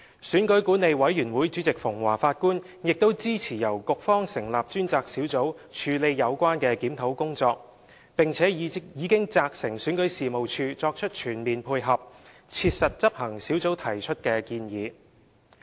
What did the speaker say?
選舉管理委員會主席馮驊法官亦支持由局方成立專責小組處理有關檢討工作，並已責成選舉事務處作出全面配合，切實執行小組提出的建議。